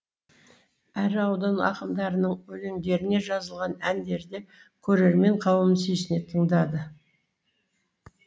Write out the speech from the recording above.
әрі аудан ақындарының өлеңдеріне жазылған әндерді көрермен қауым сүйсіне тыңдады